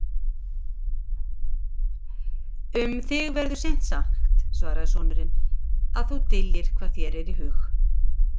Um þig verður seint sagt, svaraði sonurinn,-að þú dyljir hvað þér er í hug.